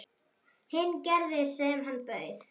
Hinn gerði sem hann bauð.